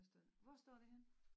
Der står hvor står det henne?